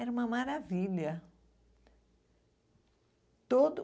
Era uma maravilha. Todo